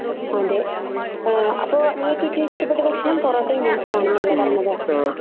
അതെ. അപ്പൊ നിങ്ങൾക്ക് ഏറ്റവും ഇഷ്ടപ്പെട്ട ഭക്ഷണം പൊറോട്ടയും ബീഫും ആണെന്നല്ലേ പറഞ്ഞത്?